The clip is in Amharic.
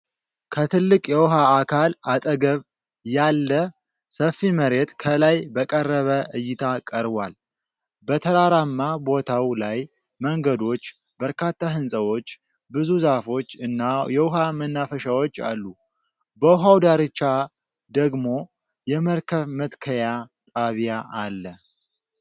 ከትልቅ የውሃ አካል አጠገብ ያለ ሰፊ መሬት ከላይ በቀረበ እይታ ቀርቧል። በተራራማ ቦታው ላይ መንገዶች፣ በርካታ ሕንፃዎች፣ ብዙ ዛፎች እና የውሃ መናፈሻዎች አሉ። በውሃው ዳርቻ ደግሞ የመርከብ መትከያ ጣቢያ አለ።